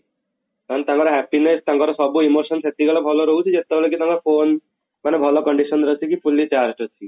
ମାନେ ତାଙ୍କର happiness ତାଙ୍କର ସବୁ emotion ସେତିକି ବେଳେ ଭଲ ରହୁଛି ଯେତେବେଳେ କି ତାଙ୍କ phone ମାନେ ଭଲ condition ରେ ଅଛି କି fully charged ଅଛି